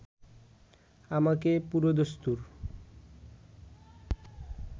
আমাকে পুরোদস্তুর